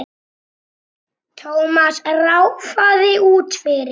Thomas ráfaði út fyrir.